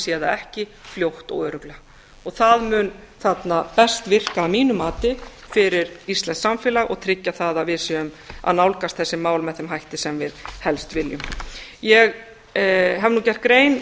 það ekki fljótt og örugglega og það mun þarna best virka að mínu mati fyrir íslenskt samfélag og tryggja það að við séum að nálgast þessi mál með þeim hætti sem við helst viljum ég hef nú gert grein